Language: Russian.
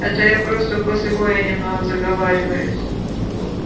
это я просто после боя немного заговариваюсь